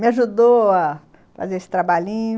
Me ajudou a fazer esse trabalhinho.